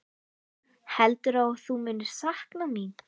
Heldurðu að þú munir sakna mín?